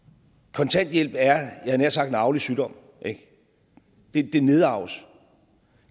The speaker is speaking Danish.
kontanthjælp er jeg havde nær sagt en arvelig sygdom det nedarves